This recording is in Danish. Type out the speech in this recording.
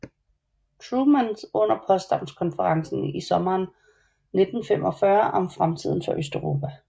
Truman under Potsdamkonferencen i sommeren 1945 om fremtiden for Østeuropa